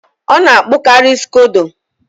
Ọ na-akpụkari scodo